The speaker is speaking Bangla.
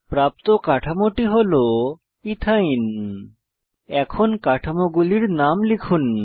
প্রাপ্ত কাঠামোটি হল ইথাইন এখন কাঠামোগুলির নাম লিখুন